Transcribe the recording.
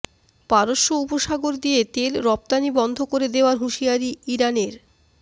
পারস্য উপসাগর দিয়ে তেল রফতানি বন্ধ করে দেওয়ার হুঁশিয়ারি ইরানের